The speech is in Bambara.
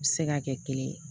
U bɛ se ka kɛ kelen ye